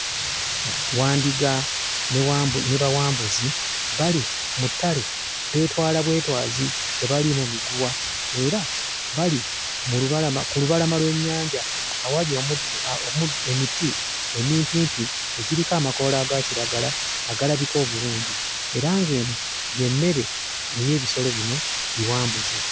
Wandiga ne Bawambuzi bali mu ttale beetwala bwetwazi, tebaliimu miguwa era bali mu lubalama ku lubalama lw'ennyanja awali omuddo emiti emimpimpi egiriko amakoola aga kiragala agalabika obulungi, era ng'eno y'emmere ey'ebisolo bino Biwambuzi.